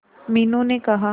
मीनू ने कहा